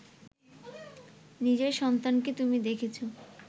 নিজের সন্তানকে তুমি দেখেছ